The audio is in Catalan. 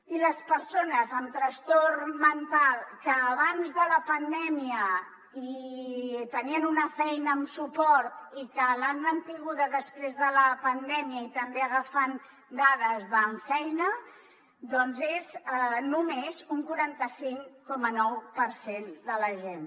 i les persones amb trastorn mental que abans de la pandèmia tenien una feina amb suport i que l’han mantinguda després de la pandèmia i també agafant dades d’ammfeina doncs és només un quaranta cinc coma nou per cent de la gent